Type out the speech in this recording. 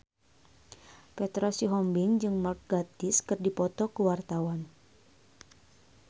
Petra Sihombing jeung Mark Gatiss keur dipoto ku wartawan